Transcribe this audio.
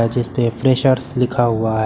जिसपे फ्रेशर्स लिखा हुआ है।